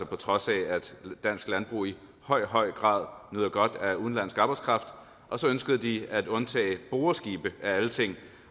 på trods af at dansk landbrug i høj høj grad nyder godt af udenlandsk arbejdskraft og så ønskede de at undtage boreskibe af alle ting